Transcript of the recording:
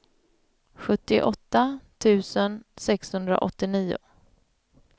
sjuttioåtta tusen sexhundraåttionio